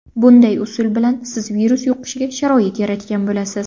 Bunday usul bilan siz virus yuqishiga sharoit yaratgan bo‘lasiz.